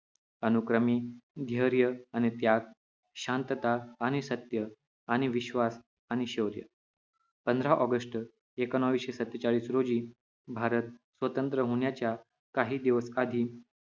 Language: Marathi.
अनुक्रमे ध्येर्य आणि त्याग शांतता आणि सत्य आणि विश्वास आणि शौर्य पंधरा ऑगस्ट एकोणीशे सत्तेचाळीस रोजी भारत स्वतंत्र्य होणाच्या काही दिवस आधी